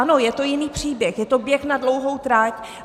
Ano, je to jiný příběh, je to běh na dlouhou trať.